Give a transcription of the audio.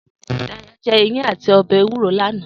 Dayo jè iyán àtí òbè éwúró lànâ